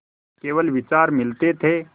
केवल विचार मिलते थे